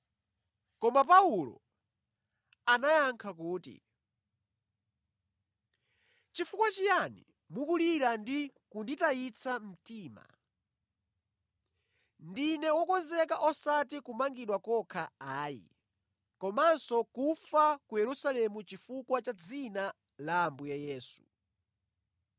Koma Paulo anayankha kuti, “Chifukwa chiyani mukulira ndi kunditayitsa mtima? Ndine wokonzeka osati kumangidwa kokha ayi, komanso kufa ku Yerusalemu chifukwa cha dzina la Ambuye Yesu.”